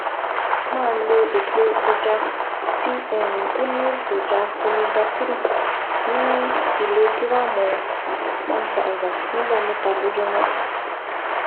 Máa lo epo ẹja tí um ó ní èròjà omega-3 ní ìlógíráàmù 1000 ní ìgbà mẹ́ta lójúmọ́